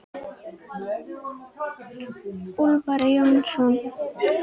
Úlfar Jónsson